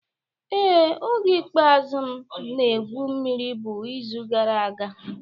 Ee, oge ikpeazụ m na-egwu mmiri bụ izu gara aga